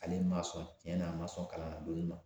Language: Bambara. Ale ma sɔn tiɲɛna a ma sɔn kalannadonni ma